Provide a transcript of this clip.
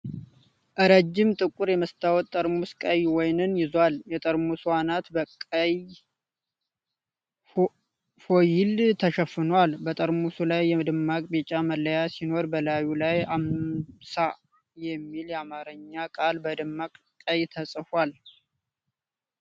ረጅም ጥቁር የመስታወት ጠርሙስ ቀይ ወይን ይዟል ። የጠርሙሱ አናት በቀይ ፎይል ተሸፍኗል። በጠርሙሱ ላይ ደማቅ ቢጫ መለያ ሲኖር፣ በላዩ ላይ "አምሳ" የሚል የአማርኛ ቃል በደማቅ ቀይ ተጽፏል።